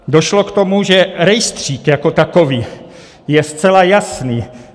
Došlo k tomu, že rejstřík jako takový je zcela jasný.